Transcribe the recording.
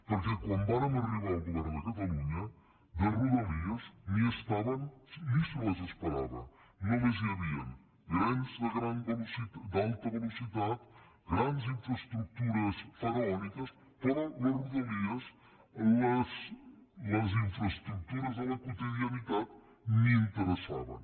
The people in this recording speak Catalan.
perquè quan vàrem arribar al govern de catalunya les rodalies ni hi eren ni se les esperava només hi havien trens d’alta velocitat grans infraestructures faraòniques però les rodalies les infraestructures de la quotidianitat ni interessaven